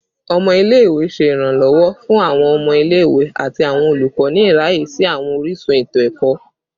Ọmọ ile-ikawe ṣe iranlọwọ fun awọn ọmọ ile-iwe ati awọn olukọ ni iraye si awọn orisun eto-ẹkọ